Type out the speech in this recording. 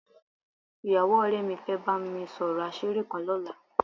Ìyàwó ọ̀rẹ́ mi fẹ́ bá mi sọ̀rọ̀ àṣírí kan lọ́la